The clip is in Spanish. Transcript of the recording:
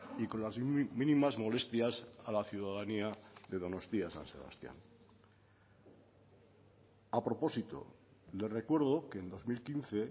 y con las mínimas molestias a la ciudadanía de donostia san sebastián a propósito le recuerdo que en dos mil quince